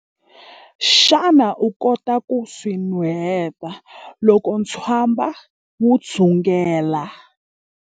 Xana u kota ku swi nuheta loko ntswamba wu dzungela?